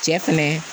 Cɛ fɛnɛ